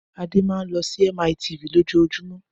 Adé máa ń lọ sí MITV lójoojúmọ́.